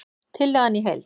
Tillagan í heild